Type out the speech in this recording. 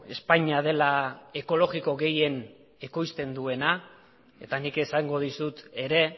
espainia dela ekologiko gehien ekoizten duena eta nik esango dizut ere